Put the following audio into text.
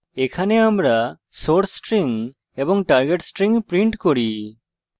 এখানে আমরা source string এবং target string print করি